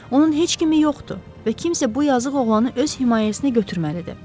Onun heç kimi yoxdur və kimsə bu yazıq oğlanı öz himayəsinə götürməlidir.